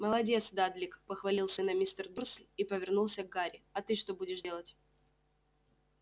молодец дадлик похвалил сына мистер дурсль и повернулся к гарри а ты что будешь делать